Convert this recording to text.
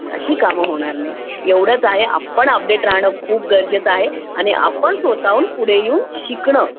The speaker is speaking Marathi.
अशी कामे होणार नाहीत एवढेच आहे आपण अपडेट राहणार खूप गरजेचं आहे आणि आपण स्वतःहून पुढे येऊन शिकणं